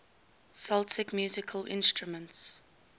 celtic musical instruments